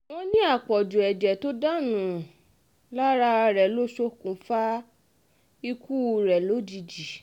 wọ́n ní àpọ̀jù ẹ̀jẹ̀ tó dànù um lára rẹ̀ ló ṣokùnfà ikú um rẹ̀ lójijì